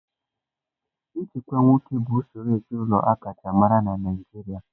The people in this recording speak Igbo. Nchịkwa nwoke bụ usoro ezinaụlọ aka chaa amara na Naịjirịa.